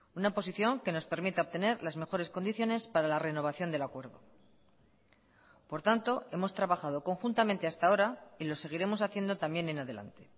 una posición que nos permita obtener las mejores condiciones para la renovación del acuerdo por tanto hemos trabajado conjuntamente hasta ahora y lo seguiremos haciendo también en adelante